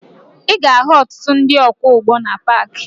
Ị ga-ahụ ọtụtụ ndị ọkwọụgbọ na paakị